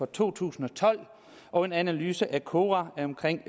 to tusind og tolv og en analyse fra kora